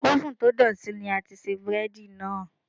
Ófùn to dọ̀tí ní a ti ṣe búrẹ́dì náà.